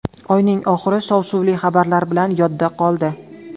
Oyning oxiri shov-shuvli xabarlar bilan yodda qoldi.